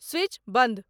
switch बंद